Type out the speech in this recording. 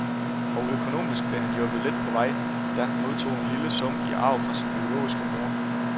Og økonomisk blev han hjulpet lidt på vej, da han modtog en lille sum i arv fra sin biologiske mor.